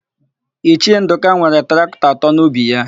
Ichie Ndụka nwere traktọ atọ n'ubi ya.